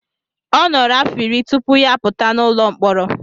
Ọ nọrọ afọ iri tupu ya apụta n'ụlọ mkpọrọ.